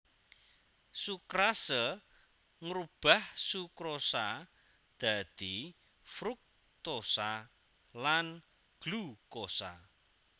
Sukrase ngrubah sukrosa dadi fruktosa lan glukosa